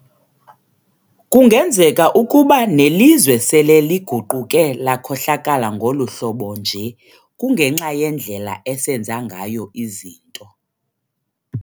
Kungenzeka ukuba nelizwe sele liguquke lakhohlakala ngoluhlobo nje kungenxa yendlela esenza ngayo izinto.